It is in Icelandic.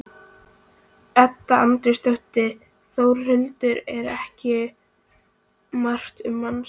Edda Andrésdóttir: Þórhildur, er ekki margt um manninn?